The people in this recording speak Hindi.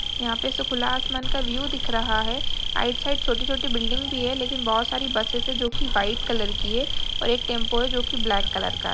यहाँ पे से खुला आसमान का व्यू दिख रहा है आइट साइड छोटी-छोटी बिल्डिंग भी है लेकिन बहुत सारी बसेस हैं जो की वाईट कलर की है और एक टेम्पो है जो की ब्लेक कलर का है।